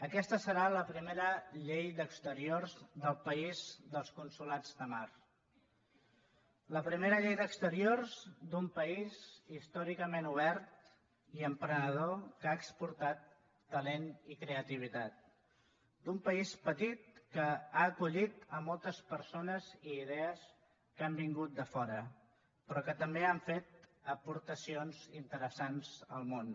aquesta serà la primera llei d’exteriors del país dels consolats de mar la primera llei d’exteriors d’un país històricament obert i emprenedor que ha exportat talent i creativitat d’un país petit que ha acollit moltes persones i idees que han vingut de fora però que també han fet aportacions interessants al món